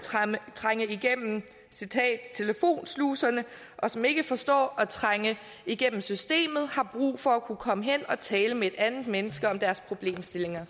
trænge igennem telefonsluserne og som ikke forstår at trænge igennem systemet har brug for fortsat at kunne komme hen og tale med et andet menneske om de problemstillinger